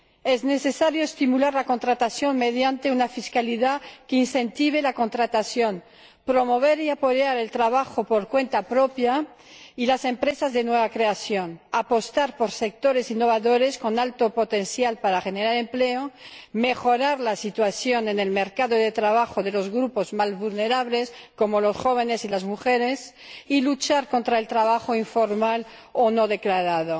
Es necesario estimular la contratación mediante una fiscalidad que la incentive, promover y apoyar el trabajo por cuenta propia y las empresas de nueva creación, apostar por sectores innovadores, con alto potencial para generar empleo, mejorar la situación en el mercado de trabajo de los grupos más vulnerables, como los jóvenes y las mujeres, y luchar contra el trabajo informal o no declarado.